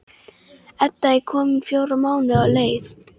Edda er komin fjóra mánuði á leið.